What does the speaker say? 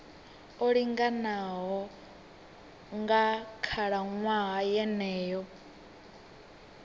o linganaho nga khalaṅwaha yeneyo